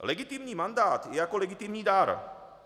Legitimní mandát je jako legitimní dar.